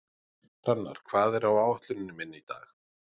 Hrannar, hvað er á áætluninni minni í dag?